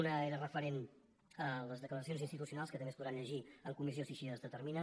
una era referent a les declaracions institucionals que també es podran llegir en comissió si així es determina